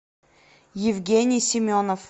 евгений семенов